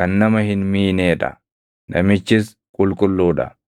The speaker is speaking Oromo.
kan nama hin miinee dha; namichis qulqulluu dha.